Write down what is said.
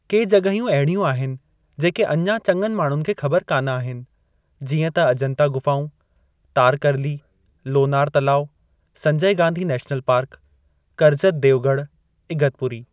के जॻहियूं अहिड़ियूं आहिनि जेके अञा चङनि माण्हुनि खे ख़बर कान आहिनि, जीअं त अजंता ग़ुफ़ाऊं, तारकरली, लोनार तलाउ, संजय गांधी नेशनल पार्क, कर्जत देवगढ़, इगतपुरी।